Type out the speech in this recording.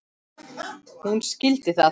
Hún skildi það.